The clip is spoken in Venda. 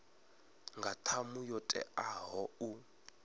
nga ṱhamu yo teaho u